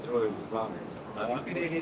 Axı nə elədik?